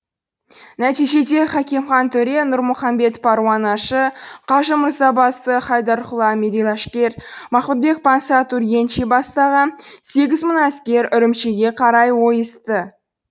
нәтижеде хакимхан төре нұрмұхаммед паруанашы қажы мырзабасы хайдарқұл әмири ләшкер махмудбек пансат ургенчи бастаған сегіз мың әскер үрімшіге қарай ойысты